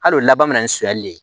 Hali o laban bɛ na ni sonyɛli ye